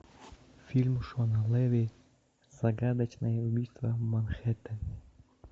фильм шона леви загадочное убийство в манхэттене